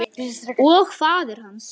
Og faðir hans?